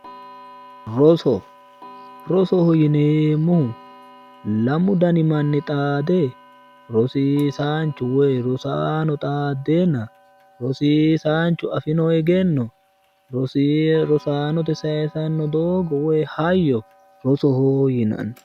Roso, rosoho yinneemmohu lamu danni manni xaade rosiisaanchunna woyi rosaano xaadenna ,rosiisanchu afino egenno rosaanote saysano doogo woyi hayyo rosoho yinnanni